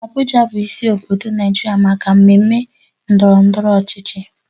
Abuja bụ isi obodo Naijiria na maka mmemme ndọrọ ndọrọ ọchịchị.